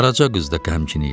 Qaraca qız da qəmgin idi.